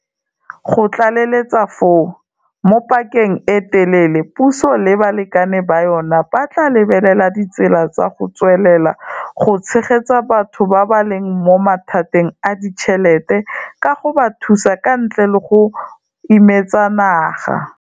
Go tlaleletsa foo, mo pakeng e e telele puso le balekane ba yona ba tla lebelela ditsela tsa go tswelela go tshegetsa batho ba ba leng mo mathateng a ditšhelete ka go ba thusa ka ntle le go imetsa naga.